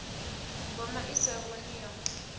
mboma i sa vhoni yo